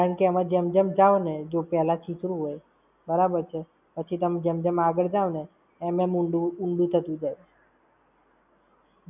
કારણ કે આમા જેમ જેમ જાવ ને. જો પેલા છીછરું હોય બરાબર છે! પછી તમે જેમ જેમ આગળ જાવ ને એમ એમ ઊંડું ઊંડું થતું જાય!